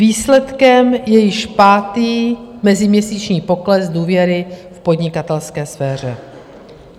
Výsledkem je již pátý meziměsíční pokles důvěry v podnikatelské sféře.